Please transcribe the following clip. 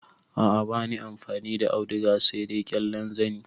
A a bani amfani da auduga sai dai ƙyallen zani.